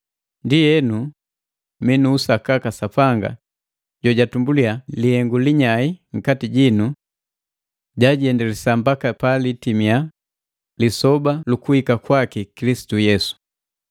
Ndienu, mi nu usakaka Sapanga jojatumbuliya lihengu linyai nkati jinu, jajiendelesa mbaka palitimia Lisoba lukuhika kwaki Kilisitu Yesu.